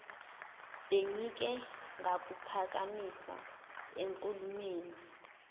bengike ngakuphakamisa enkulumweni